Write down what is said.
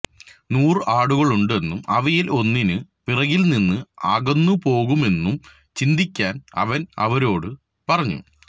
നൂറ് ആടുകളുണ്ടെന്നും അവയിൽ ഒന്നിന് പിറകിൽനിന്ന് അകന്നുപോകുമെന്നും ചിന്തിക്കാൻ അവൻ അവരോട് പറഞ്ഞു